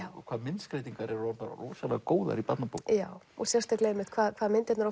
hvað myndskreytingar eru orðnar rosalega góðar í barnabókum já og sérstaklega einmitt hvað hvað myndirnar